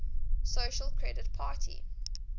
social credit party